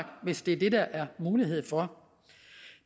hvis det er det der er mulighed for